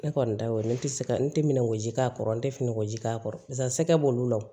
Ne kɔni da y'o ye ne tɛ se ka n tɛ minɛn ko ji k'a kɔrɔ n tɛ finiko ji k'a kɔrɔ nka sɛkɛ b'olu lawuli